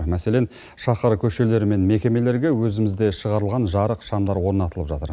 мәселен шаһар көшелері мен мекемелерге өзімізде шығарылған жарық шамдар орнатылып жатыр